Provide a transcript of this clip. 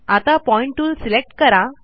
आता point tool select करा